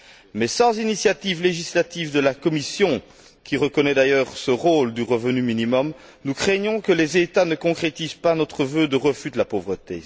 Mais sans initiative législative de la Commission, qui reconnaît d'ailleurs ce rôle du revenu minimum, nous craignons que les États ne concrétisent pas notre vœu de refus de la pauvreté.